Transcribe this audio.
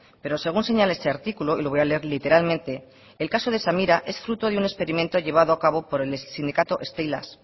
pero según señala ese articulo y lo voy a leer literalmente el caso de samira es fruto de un experimento llevado a cabo por el sindicato stee eilas